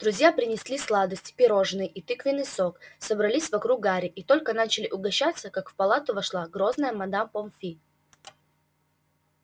друзья принесли сладости пирожные и тыквенный сок собрались вокруг гарри и только начали угощаться как в палату вошла грозная мадам помфри